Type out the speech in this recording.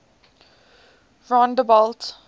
rondebult